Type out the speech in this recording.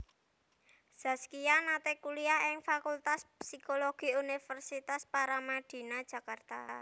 Zaskia nate kuliah ing Fakultas Psikologi Universitas Paramadina Jakarta